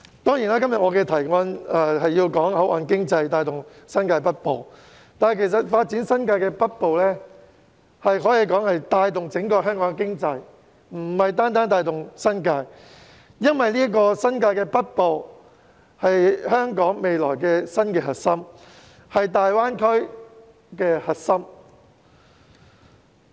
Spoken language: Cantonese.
我今天的議案雖說是討論以口岸經濟帶動新界北部發展，但發展新界北部其實可帶動整個香港的經濟，而不是單單帶動新界，因為新界北部是未來香港的新核心、大灣區的核心。